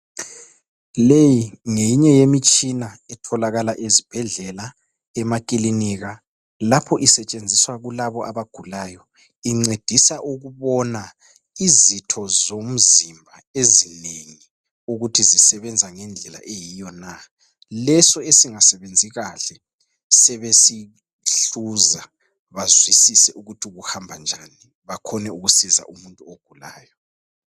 Leyi ngeyinye yemitshina etholakala ezibhedlela emaklinika lapho isetshenziswa kulabo abagulayo. Incedisa ukubona izitho zomzimba ezinengi ukuthi zisebenza ngendlela eyiyo na. Leso esingasebenzi kahle besesihluza bazwisise ukuthi kuhamba njani bakhone ukusiza umuntu ogulayo.